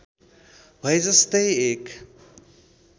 भए जस्तै एक